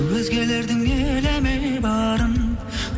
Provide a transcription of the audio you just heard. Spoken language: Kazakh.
өзгелердің елеме барын